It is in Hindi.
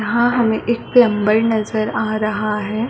यहाँ हमे एक प्लम्बर नजर आ रहा है।